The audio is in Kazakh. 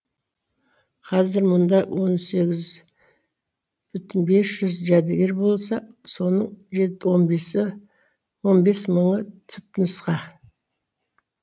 қазір мұнда он сегіз бүтін бес жүз жәдігер болса соның он бес мыңы түпнұсқа